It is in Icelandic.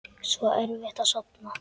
Svo erfitt að sofna.